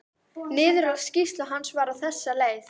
Niðurlag skýrslu hans var á þessa leið